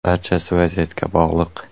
Barchasi vaziyatga bog‘liq.